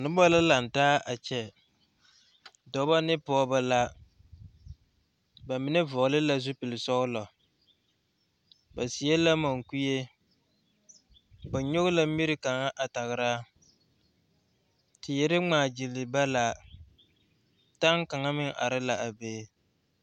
Noba laŋ taa a kyɛ dɔbɔ ne pɔgeba la ba mine vɔgle la zupili sɛglɔ ba seɛ la mukue ba nyɔge la miri kaŋ a tagra teere ŋmaa gyelee ba la taŋ kaŋa meŋ are a be.